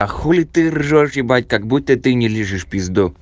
а хули ты ржёшь ебать как-будто ты не лижешь пизду